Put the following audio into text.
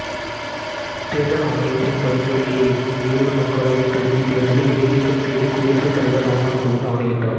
தேர்தல் ஆணையத்தின் பரிந்துரையை ஏற்று வேலூர் மக்களவைத் தொகுதி தேர்தலை இடைநீக்கம் செய்து குடியரசு தலைவர் ராம்நாத் கோவிந்த் ஆணையிட்டார்